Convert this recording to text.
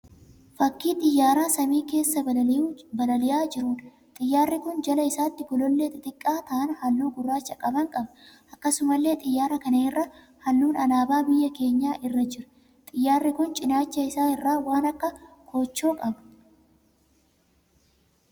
Fakkii xiyyaara samii keessa balali'aa jiruudha. Xiyyaarri kun jala isaatii golollee xixiqqaa ta'an halluu gurraacha qaban qaba. Akkasumallee xiyyaara kana irra halluun alaabaa biyya keenyaa irra jira. Xiyyaarri kun cinaacha isaa irraa waan akka koochoo qaba.